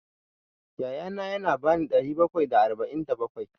Ya ya na ya ba ni ɗari bakwai da arba'in da bakwai.